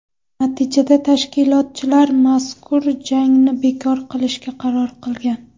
Natijada tashkilotchilar mazkur jangni bekor qilishga qaror qilgan.